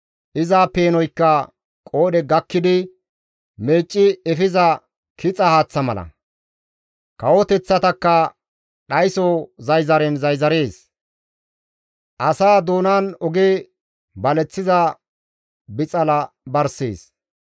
Iza peenoykka qoodhe gakkidi meecci efiza kixa haaththa mala; kawoteththatakka dhayso zayzaren zayzarees; asaa doonan oge baleththiza bixala barssees.